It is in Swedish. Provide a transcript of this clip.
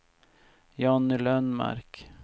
Jonny Lundmark